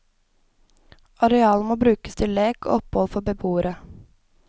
Arealet må brukes til lek og opphold for beboere.